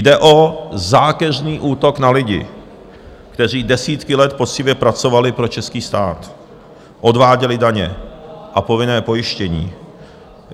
Jde o zákeřný útok na lidi, kteří desítky let poctivě pracovali pro český stát, odváděli daně a povinné pojištění.